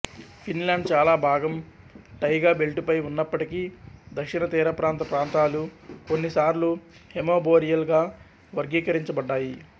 Finland చాలా భాగం taiga బెల్టుపై ఉన్నప్పటికీ దక్షిణ తీరప్రాంత ప్రాంతాలు కొన్నిసార్లు హేమిబోరియల్ గా వర్గీకరించబడ్డాయి